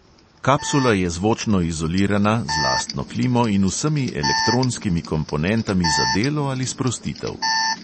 Kapsula je zvočno izolirana, z lastno klimo in vsemi elektronskimi komponentami za delo ali sprostitev.